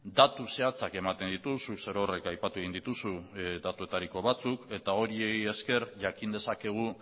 datu zehatzak ematen ditu zuk zerorrek aipatu egin dituzu datuetariko batzuk eta horiei esker jakin dezakegu